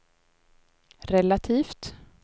relativt